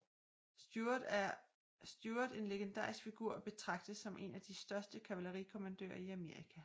Stuart en legendarisk figur og betragtes som en af de største kavalerikommandører i Amerika